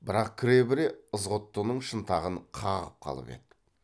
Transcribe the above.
бірақ кіре бере ызғұттының шынтағын қағып қалып еді